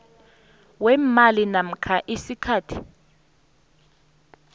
weemali namkha isikhathi